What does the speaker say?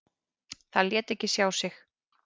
Það lét ekki sjá sig.